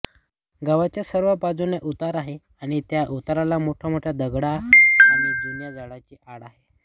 गावाच्या सर्व बाजूंनी उतार आहे आणि त्या उताराला मोठमोठ्या दगडी आणि जुन्या झाडांची आड आहे